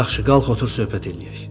Yaxşı, qalx otur, söhbət eləyək.